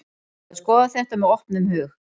Maður skoðar þetta með opnum hug.